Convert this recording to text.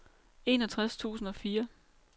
enogtres tusind og fire